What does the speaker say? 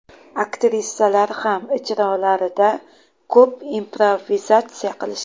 Aktrisalar ham ijrolarida ko‘p improvizatsiya qilishdi.